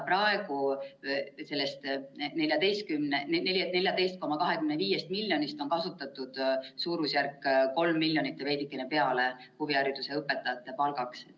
Praegu on sellest 14,25 miljonist huvihariduse õpetajate palkadeks kasutatud suurusjärgus 3 miljonit ja veidikene peale.